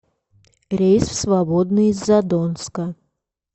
рейс в свободный из задонска